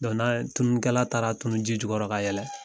Don n'a ye tununikɛla taara tunu ji jukɔrɔ ka yɛlɛn